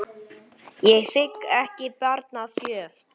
Ég þigg ekki barn að gjöf.